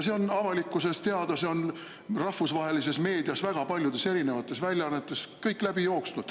See on avalikkusele teada, kuna see on rahvusvahelises meedias väga paljudes väljaannetes läbi jooksnud.